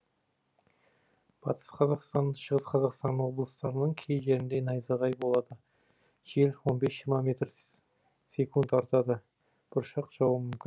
батыс қазақстан шығыс қазақстан облыстарының кей жерінде найзағай болады жел он бес жиырма метр секунд артады бұршақ жаууы мүмкін